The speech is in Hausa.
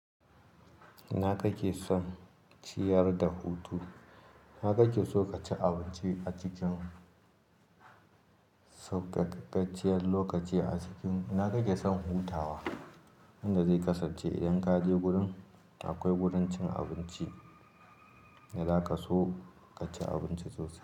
Ina kake son ciyar da hutu? iNa kake so ka ci abinci a cikin saukakakacciyar lokaci a cikin-- ina kake son hutawa? Inda zai kasance idan kaje gurin, akwai wurin cin abinci da zaka so ka ci abinci sosai.